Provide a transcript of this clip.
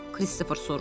Kristofer soruşdu.